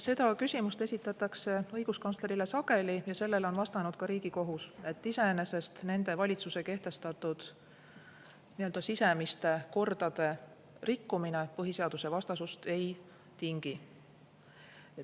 Seda küsimust esitatakse õiguskantslerile sageli ja sellele on vastanud ka Riigikohus, et iseenesest nende valitsuse kehtestatud nii-öelda sisemiste kordade rikkumine põhiseadusvastasust ei tingi.